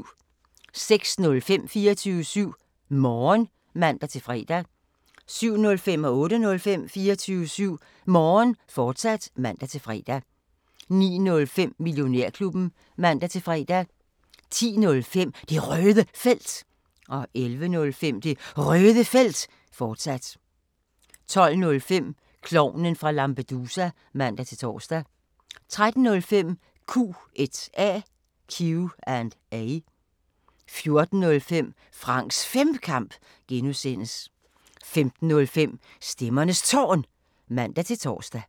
06:05: 24syv Morgen (man-fre) 07:05: 24syv Morgen, fortsat (man-fre) 08:05: 24syv Morgen, fortsat (man-fre) 09:05: Millionærklubben (man-fre) 10:05: Det Røde Felt 11:05: Det Røde Felt, fortsat 12:05: Klovnen fra Lampedusa (man-tor) 13:05: Q&A 14:05: Franks Femkamp (G) 15:05: Stemmernes Tårn (man-tor)